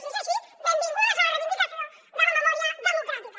si és així benvingudes a la reivindicació de la memòria democràtica